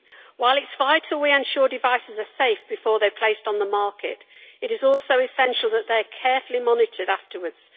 While it is vital that we ensure devices are safe before they are placed on the market, it is also essential that they are carefully monitored afterwards.